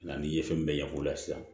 Nga n'i ye fɛn bɛɛ ɲɛf'o la sisan